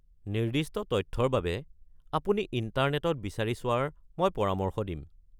নিৰ্দিষ্ট তথ্যৰ বাবে আপুনি ইণ্টাৰনেটত বিচাৰি চোৱাৰ মই পৰামৰ্শ দিম।